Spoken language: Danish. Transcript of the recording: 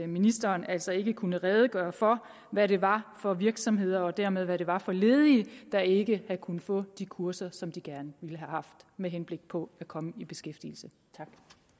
ministeren altså ikke kunne redegøre for hvad det var for virksomheder og dermed for hvad det var for ledige der ikke kunne få de kurser som de gerne ville have haft med henblik på at komme i beskæftigelse tak